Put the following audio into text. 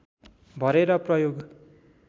भरेर प्रयोग